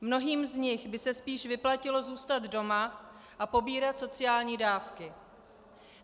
Mnohým z nich by se spíše vyplatilo zůstat doma a pobírat sociální dávky.